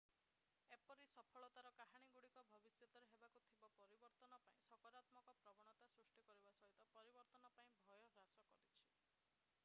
ଏପରି ସଫଳତାର କାହାଣୀଗୁଡ଼ିକ ଭବିଷ୍ୟତରେ ହେବାକୁ ଥିବା ପରିବର୍ତ୍ତନ ପ୍ରତି ସକାରାତ୍ମକ ପ୍ରବଣତା ସୃଷ୍ଟି କରିବା ସହିତ ପରିବର୍ତ୍ତନ ପ୍ରତି ଭୟ ହ୍ରାସ କରିଛି